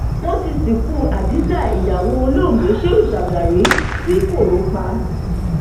wọn ti sìnkú hadiza ìyàwó olóògbé shehu shagari ti koro pa